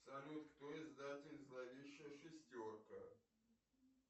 салют кто издатель зловещая шестерка